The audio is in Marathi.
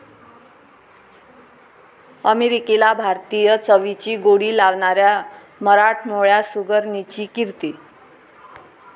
अमेरिकेला भारतीय चवीची गोडी लावणाऱ्या मराठमोळ्या सुगरणीची 'कीर्ती'